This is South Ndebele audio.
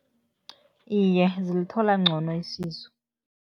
Iye, zilithola ngcono isizo.